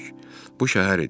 Bu şəhər idi.